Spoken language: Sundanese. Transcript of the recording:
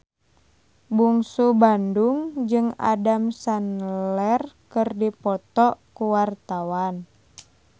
Bungsu Bandung jeung Adam Sandler keur dipoto ku wartawan